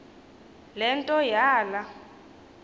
le nto yala